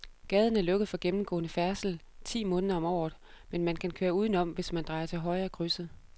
Gaden er lukket for gennemgående færdsel ti måneder om året, men man kan køre udenom, hvis man drejer til højre i krydset.